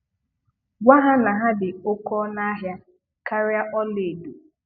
Gwa ha na ha dị oke ọnụ ahịa karịa ọlaedo.